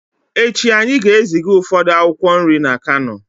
Echi anyị ga-eziga ụfọdụ akwụkwọ nri na kano